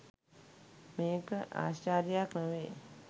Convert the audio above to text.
මේක ආශ්චර්යයක් නොවෙයි.